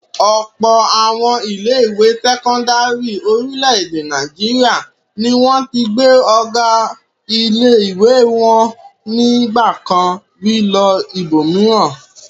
Ọ̀pọ̀ àwọn ilé-ìwé sẹ́kọ́ndárì orílẹ̀-èdè Nàìjíríà ni wọ́n ti gbé ọ̀gá ilé-ìwé wọn ní ìgbà kan rí lọ ibòmíràn.